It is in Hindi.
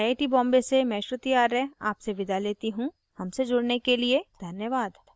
आई आई टी बॉम्बे से मैं श्रुति आर्य आपसे विदा लेती हूँ हमसे जुड़ने के लिए धन्यवाद